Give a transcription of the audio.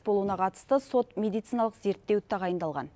болуына қатысты сот медициналық зерттеу тағайындалған